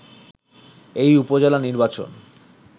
এই উপজেলা নির্বাচন